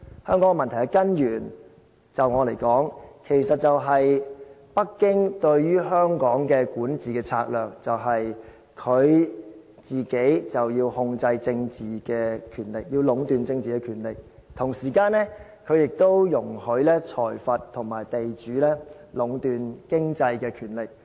香港問題的根源，對我來說，就是北京對香港的管治策略：它要控制政治權力，要壟斷政治權力，同時間它亦容許財閥和地主壟斷經濟的權力。